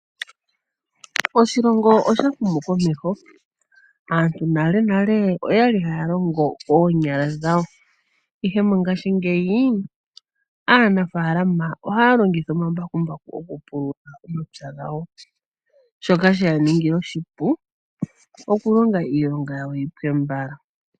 Oshilongo osha humu komeho, aantu nale nale oyali haya longo noonyala dhawo. Ihe mongashingeyi aanafalama ohaa longitha omambakumbaku oku pulula omapya gawo. Shoka sheya ningila oshipu opo iilonga yawo yipwe mbala.